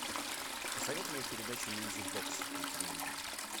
посоветуй мне передачу мьюзик бокс на телевизоре